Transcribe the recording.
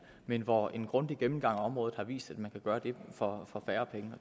men hvor en grundig gennemgang af området har vist at man kan gøre det for færre penge